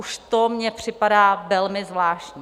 Už to mně připadá velmi zvláštní.